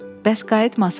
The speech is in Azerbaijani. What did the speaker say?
Bəs qayıtmasan?